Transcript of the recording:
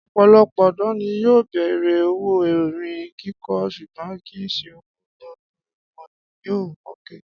Ọ̀pọ̀lọpọ̀ ọ̀dọ́ ni yóò bẹ̀rẹ̀ òwò orin kíkọ ṣùgbọ́n kì í ṣe ọwọ́ gbogbo wọn ni yóò mókè